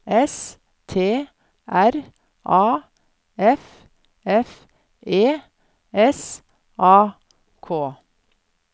S T R A F F E S A K